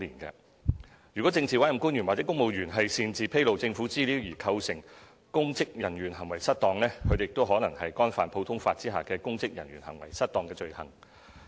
如政治委任官員或公務員擅自披露政府資料而構成公職人員行為失當，他們亦可能干犯普通法下的"公職人員行為失當"罪行。